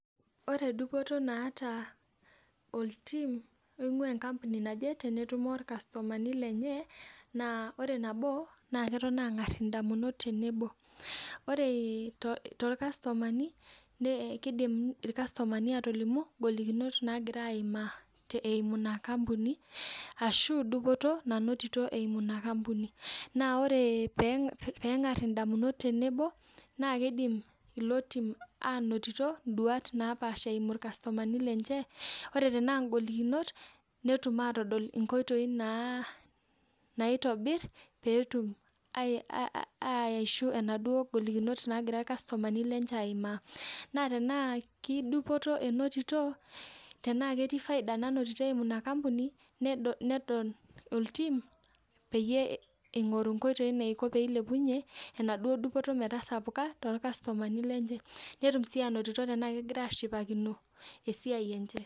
Ore dupoto naata oltim tenetumi irkastomani lenye naa ore nabo na ketoni angar ndamunot tenebo orw torkastomani nelimu ngolikinot nagira aimaa eimu inaampuni ashubdupoto nainotito eimu inaampuni na ore pengar nduat tenebo na kidim ainoto eimu irkastomani lenye ore tanaa ngolikinot netum atadol nkoitoi naitobir petum aishu naduo golikinot nagira irkastomani aimaa na tenaa kedupoto inototo tanaa ketii faida nainoto oltim nedol eniko peilepunye enaduo dupoto metaa sapuka torkastomani lenye netum atayiolo anaa kegira ashipakino esiai enche.